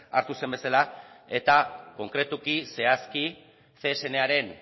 hartu zen bezala eta konkretuki zehazki csnaren